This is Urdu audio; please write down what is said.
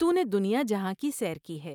تو نے دنیا جہاں کی سیر کی ہے ۔